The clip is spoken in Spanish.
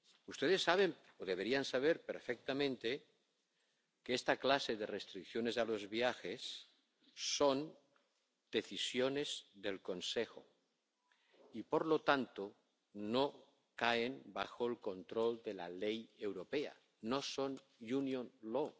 Ustedes saben —o deberían saber perfectamente— que esta clase de restricciones a los viajes son decisiones del Consejo y, por lo tanto, no caen bajo el control de la ley europea, no son Union law